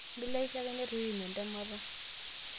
mileisho ake netu iim entemeta?